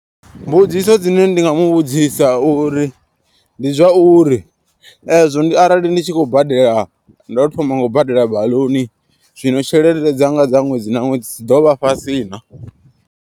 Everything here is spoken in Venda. Mbudziso dzine ndi nga mu vhudzisa uri ndi zwauri ezwo ndi arali ndi tshi khou badela. Ndo thoma nga u badela baḽuni zwino tshelede dza nga dza ṅwedzi na ṅwedzi dzi ḓo vha fhasi na.